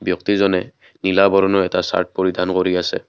ব্যক্তিজনে নীলা বৰণৰ এটা চাৰ্ট পৰিধান কৰি আছে।